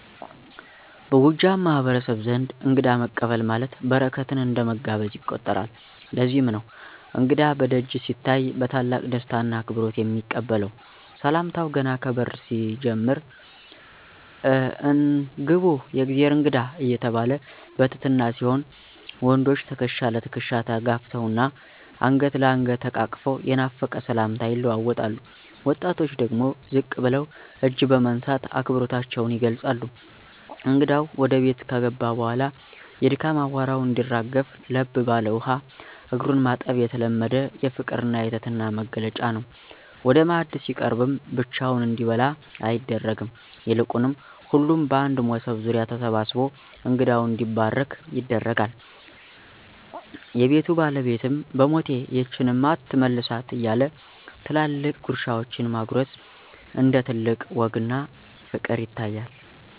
በጎጃም ማህበረሰብ ዘንድ እንግዳ መቀበል ማለት በረከትን እንደ መጋበዝ ይቆጠራል፤ ለዚህም ነው እንግዳ በደጅ ሲታይ በታላቅ ደስታና አክብሮት የሚቀበለው። ሰላምታው ገና ከበር ሲጀምር "አን! ግቡ፣ የእግዜር እንግዳ" እየተባለ በትህትና ሲሆን፣ ወንዶች ትከሻ ለትከሻ ተጋፍተውና አንገት ለአንገት ተቃቅፈው የናፈቀ ሰላምታ ይለዋወጣሉ፤ ወጣቶች ደግሞ ዝቅ ብለው እጅ በመንሳት አክብሮታቸውን ይገልጻሉ። እንግዳው ወደ ቤት ከገባ በኋላ የድካም አቧራው እንዲረግፍ ለብ ባለ ውሃ እግሩን ማጠብ የተለመደ የፍቅርና የትህትና መግለጫ ነው። ወደ ማዕድ ሲቀርብም ብቻውን እንዲበላ አይደረግም፤ ይልቁንም ሁሉም በአንድ መሶብ ዙሪያ ተሰብስቦ እንግዳው እንዲባርክ ይደረጋል። የቤቱ ባለቤትም "በሞቴ፣ ይህችንማ አትመልሳት" እያለ ትላልቅ ጉርሻዎችን ማጎረስ እንደ ትልቅ ወግና ፍቅር ይታያል።